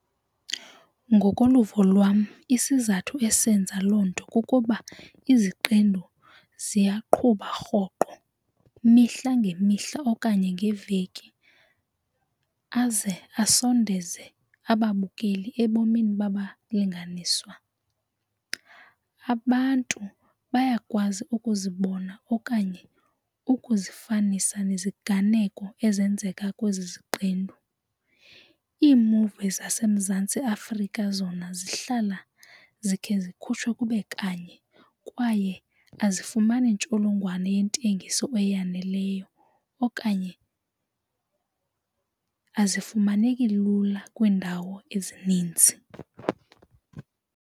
Ngokoluvo lwam isizathu esenza loo nto kukuba iziqendu ziyaqhutywa rhoqo imihla ngemihla okanye ngeveki aze asondeze ababukeli ebomini babalinganiswa. Abantu bayakwazi ukuzibona okanye ukuzifanisa neziganeko ezenzeka kwezi ziqendu. Iimuvi zaseMzantsi Afrika zona zihlala zikhe zikhutshwe kube kanye kwaye azifumani ntsholongwane yentengiso eyaneleyo okanye azifumaneki lula kwiindawo ezininzi.